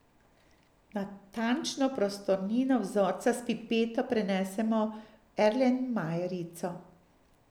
Natančno prostornino vzorca s pipeto prenesemo v erlenmajerico.